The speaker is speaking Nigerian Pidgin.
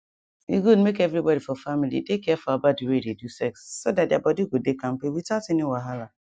e good make everybody for family dey careful about the way they do sex so that their body go dey kampe without any wahala